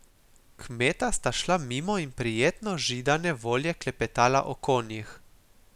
Kmeta sta šla mimo in prijetno židane volje klepetala o konjih.